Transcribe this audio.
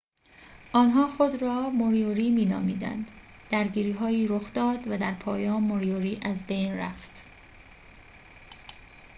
آنها خود را موریوری می نامیدند درگیری‌هایی رخ داد و در پایان موریوری از بین رفت